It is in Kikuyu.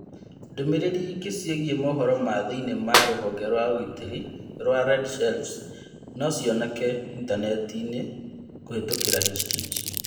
Ndũmĩrĩri ĩngĩ ciĩgiĩ mohoro ma thĩinĩ ma rũhonge rwa ũgitĩri rwa red sheriff's nocionekane intanentinĩ kũhetukira htt